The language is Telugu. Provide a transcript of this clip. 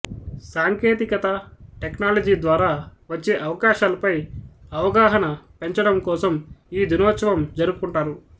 సాంకేతికత టెక్నాలజీ ద్వారా వచ్చే అవకాశాలపై అవగాహన పెంచడంకోసం ఈ దినోత్సవం జరుపుకుంటారు